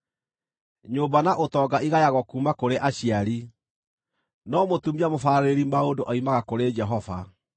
Nyũmba na ũtonga igayagwo kuuma kũrĩ aciari, no mũtumia mũbaarĩrĩri maũndũ oimaga kũrĩ Jehova.